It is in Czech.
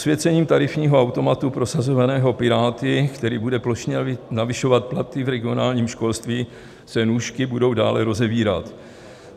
Posvěcením tarifního automatu prosazovaného Piráty, který bude plošně navyšovat platy v regionálním školství, se nůžky budou dále rozevírat.